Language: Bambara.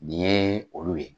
Nin yee olu ye